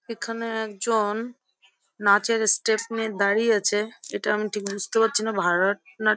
এখানে একজন নাচের স্টেপ নিয়ে দাঁড়িয়ে আছে এটা আমি বুঝতে পারছি না ভারতনা--